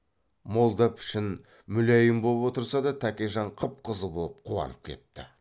молда пішін мүләйім боп отырса да тәкежан қып қызыл боп қуанып кетті